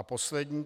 A poslední.